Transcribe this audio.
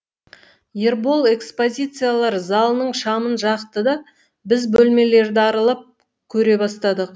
ербол экспозициялар залының шамын жақты да біз бөлмелерді аралап көре бастадық